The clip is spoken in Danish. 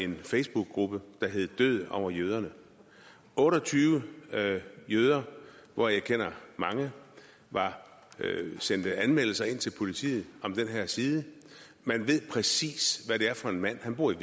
en facebookgruppe der hedder død over jøderne otte og tyve jøder hvoraf jeg kender mange sendte anmeldelser ind til politiet om den her side man ved præcis hvad det er for en mand han bor i